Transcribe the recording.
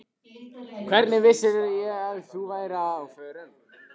Hvernig vissirðu að ég væri á förum?